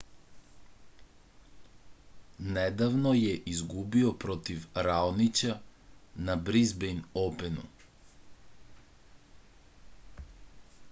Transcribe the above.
nedavno je izgubio protiv raonića na brizbejn openu